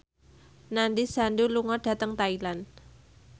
Nandish Sandhu lunga dhateng Thailand